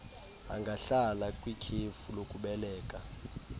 angahlala kwikhefu lokubeleka